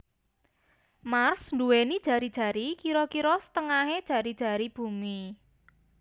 Mars nduwèni jari jari kira kira setengahé jari jari Bumi